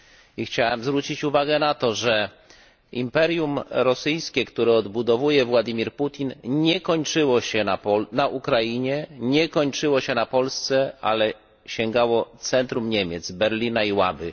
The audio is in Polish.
I chciałem zwrócić uwagę na to, że imperium rosyjskie, które odbudowuje Władimir Putin, nie kończyło się na Ukrainie, nie kończyło się na Polsce, ale sięgało centrum Niemiec, Berlina i Łaby.